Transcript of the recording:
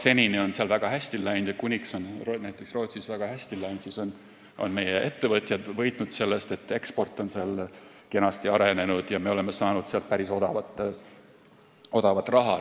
Senini on seal väga hästi läinud ja kuni näiteks Rootsis on läinud väga hästi, on meie ettevõtjad võitnud sellest, et eksport on seal kenasti arenenud ja me oleme saanud sealt päris odavat raha.